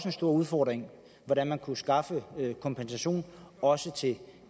en stor udfordring hvordan man kunne skaffe kompensation også til